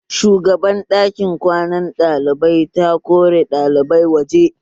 Shugaban ɗakin kwanan ɗalibai ta kore ɗalibai waje